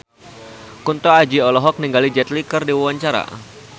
Kunto Aji olohok ningali Jet Li keur diwawancara